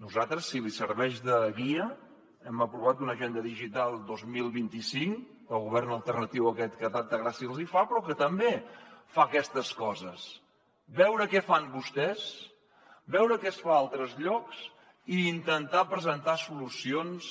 nosaltres si li serveix de guia hem aprovat una agenda digital dos mil vint cinc el govern alternatiu aquest que tanta gràcia els hi fa però que també fa aquestes coses veure què fan vostès veure què es fa a altres llocs i intentar presentar solucions